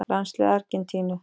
Landslið Argentínu: